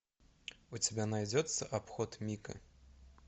у тебя найдется обход мика